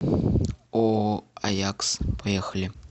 ооо аякс поехали